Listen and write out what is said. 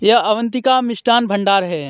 यह अवंतिका मिष्ठान भंडार हैं.